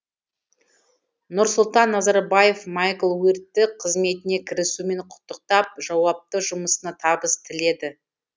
нұрсұлтан назарбаев майкл уиртті қызметіне кірісуімен құттықтап жауапты жұмысына табыс тіледі